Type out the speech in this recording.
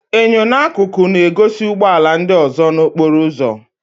Enyo n'akụkụ na-egosi ụgbọ ala ndị ọzọ n'okporo ụzọ.